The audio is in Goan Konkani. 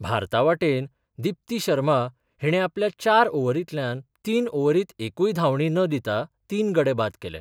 भारतावाटेन दिप्ती शर्मा हीणे आपल्या चार ओव्हरीतल्यान तीन ओव्हरीत एकूय धावंडीन दिता तीन गडे बाद केले.